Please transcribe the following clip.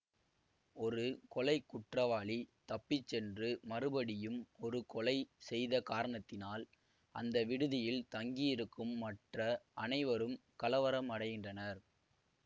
ஒரு கொலை குற்றவாளி தப்பி சென்று மறுபடியும் ஒரு கொலை செய்த காரணத்தினால் அந்த விடுதியில் தங்கியிருக்கும் மற்ற அனைவரும் கலவரமடைகின்றனர்